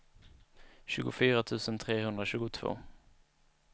tjugofyra tusen trehundratjugotvå